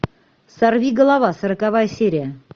сорвиголова сороковая серия